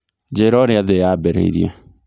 njĩira ũrĩa thĩ yambĩrĩirĩe